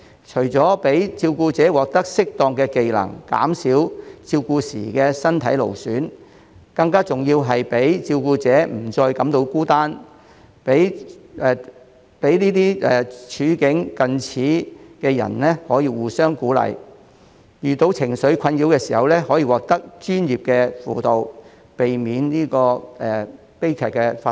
除了讓照顧者獲得適當的技能，減少照顧時的身體勞損外，更重要的是讓照顧者不再感到孤單，讓處境近似的人可以互相鼓勵，遇到情緒困擾時可獲得專業的輔導，避免悲劇發生。